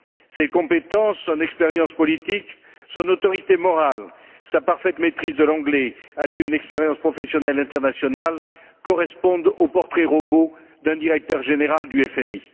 Ses compétences, son expérience politique, son autorité morale, sa parfaite maîtrise de l'anglais, alliées à une expérience professionnelle internationale, correspondent au portrait robot d'un directeur général du FMI.